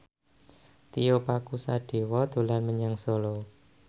Tio Pakusadewo dolan menyang Solo